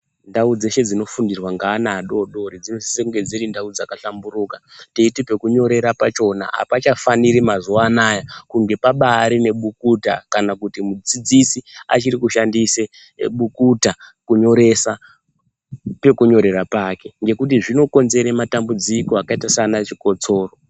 Ndau dzeshe dzinofundirwa neana adori dori dzinosisa kunge dziri ndau dzakahlamburuka teiti pekunyorera pachona hapachafaniri Mazuwa anaya kunge pabari nebukuta kuti mudzidzisi achiri kushandisa bukuta kunyoresa pekunyorera pake nekuti zvinokonzeresa matambudziko akaita saana chikosoro.